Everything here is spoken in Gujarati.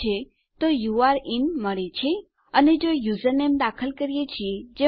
અને જો આપણે યુઝરનેમ દાખલ કરીએ છીએ જે મળતું નથી તો આપણને યુઝર ડોએસન્ટ એક્સિસ્ટ નામનો એક એરર મેસેજ મળે છે